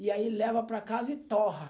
E aí leva para casa e torra.